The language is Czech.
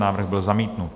Návrh byl zamítnut.